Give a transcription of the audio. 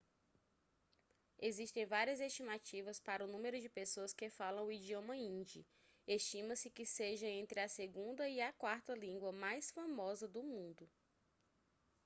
existem várias estimativas para o número de pessoas que falam o idioma hindi estima-se que seja entre a segunda e a quarta língua mais falada no mundo